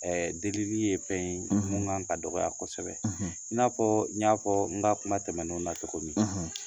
Ɛɛ deli li ye fɛn ye mun kan ka dɔgɔya kosɛbɛ , i na fɔ n y'a fɔ n ka kuma tɛmɛnenw na cogo min